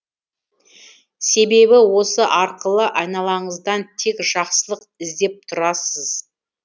себебі осы арқылы айналаңыздан тек жақсылық іздеп тұрасыз